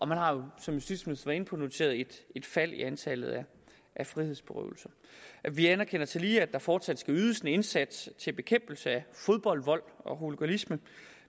man har jo som justitsministeren var inde på noteret et fald i antallet af frihedsberøvelser vi anerkender tillige at der fortsat skal ydes en indsats til bekæmpelse af fodboldvold og hooliganisme